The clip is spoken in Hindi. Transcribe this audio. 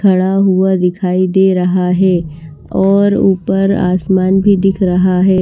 खड़ा हुआ दिखाई दे रहा है और ऊपर आसमान भी दिख रहा है।